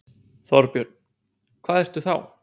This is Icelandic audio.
Þorbjörn: Hvað ertu þá?